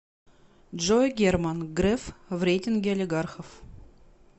джой герман греф в рейтинге олигархов